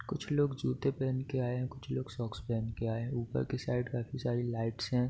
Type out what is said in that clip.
कुछ लोग जूते पहन के आयें हैं कुछ लोग सोक्स पहन के आयें हैं | उपर कि साइड काफ़ी सारी लाइट्स है |